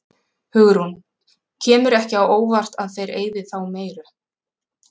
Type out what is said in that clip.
Hugrún: Kemur ekki á óvart að þeir eyði þá meiru?